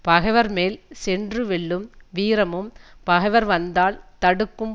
பகைவர் மேல் சென்று வெல்லும் வீரமும் பகைவர் வந்தால் தடுக்கும்